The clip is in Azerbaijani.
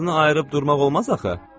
Ağzını ayırıb durmaq olmaz axı.